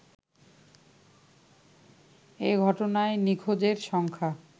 এ ঘটনায় নিখোঁজের সংখ্যা